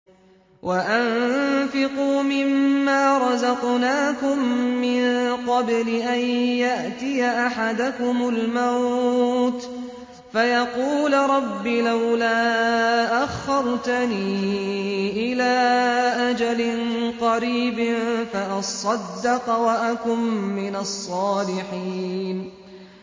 وَأَنفِقُوا مِن مَّا رَزَقْنَاكُم مِّن قَبْلِ أَن يَأْتِيَ أَحَدَكُمُ الْمَوْتُ فَيَقُولَ رَبِّ لَوْلَا أَخَّرْتَنِي إِلَىٰ أَجَلٍ قَرِيبٍ فَأَصَّدَّقَ وَأَكُن مِّنَ الصَّالِحِينَ